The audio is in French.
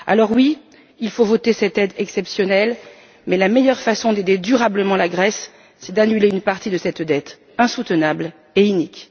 Oui, il faut voter cette aide exceptionnelle, mais la meilleure façon d'aider durablement la Grèce, c'est d'annuler une partie de cette dette insoutenable et inique.